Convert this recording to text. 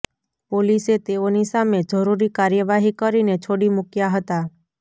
પોલીસે તેઓની સામે જરૂરી કાર્યવાહી કરીને છોડી મુક્યા હતા